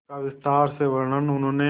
इसका विस्तार से वर्णन उन्होंने